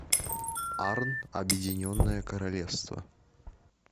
арн объединенное королевство